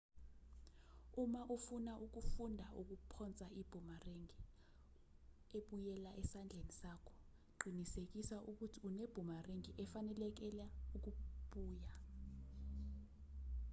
uma ufuna ukufunda ukuphonsa ibhumerangi ebuyela esandleni sakho qinisekisa ukuthi unebhumerangi efanelekela ukubuya